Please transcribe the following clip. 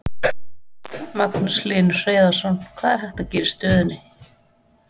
Magnús Hlynur Hreiðarsson: Hvað er hægt að gera í stöðunni?